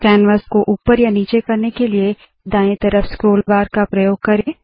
canvas को ऊपर या नीचे करने के लिए दाएँ तरफ स्क्रोल बार का प्रयोग करे